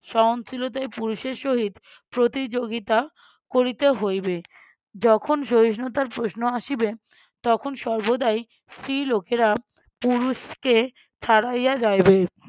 সহনশীলতায় পুরুষের সহিত প্রতিযোগিতা করিতে হইবে যখন সহিষ্ণুতার প্রশ্ন আসিবে তখন সর্বদাই স্ত্রীলোকেরা পুরুষকে ছাড়াইয়া যাইবে